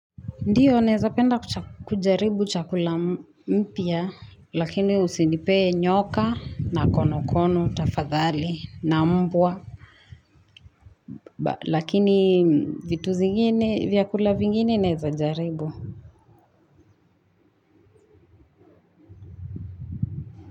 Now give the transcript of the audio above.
Ndiyo, naeza penda kucha kujaribu chakula mmpya, lakini usinipee nyoka na konokono tafadhali na mbwa. Lakini vitu zingine, vyakula vingine naeza jaribu.